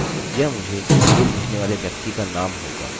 यह मुझे ईमेल भेजने वाले व्यक्ति का नाम होगा